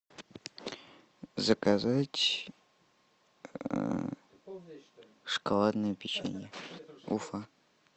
заказать шоколадное печенье уфа